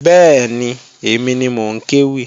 Bẹ́ẹ̀ni, èmi ni mò ń kéwì